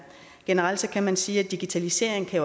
generelt kan man sige at digitalisering kan